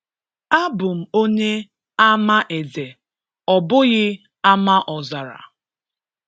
A bụm onye Amaeze, ọ bụghị Amaọzara.